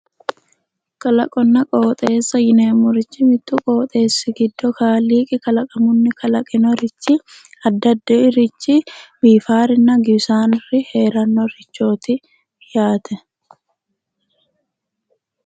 Kalaqonna qooxeessa yineemmorichi mittu qooxeessi giddo Kaaliiqi kalaqamunni kalaqinorichi addi addirichi biifaarinna giwisaari heerannorichooti yaate.